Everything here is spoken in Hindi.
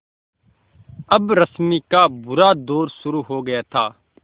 अब रश्मि का बुरा दौर शुरू हो गया था